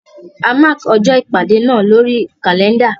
A mákì ọjọ́ ìpàdé náà lórí kàlẹ́ndà.